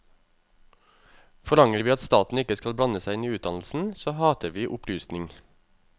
Forlanger vi at staten ikke skal blande seg inn i utdannelsen, så hater vi opplysning.